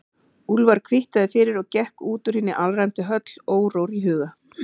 Úlfar kvittaði fyrir og gekk út úr hinni alræmdu höll órór í huga.